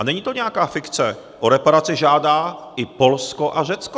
A není to nějaká fikce, o reparace žádá i Polsko a Řecko!